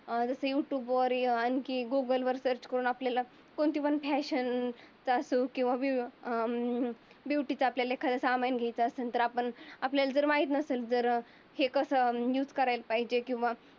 जसं युट्युब वरील गुगल वरील सर्च करून. आपल्याला कोणती पण कोणती पण फॅशन का असो वि अं ब्युटीच आपल्याला एखादं सामान घ्यायचं तर आपण आपल्याला जर माहित नसल. जर हे कसं युज करायला पाहिजे किंवा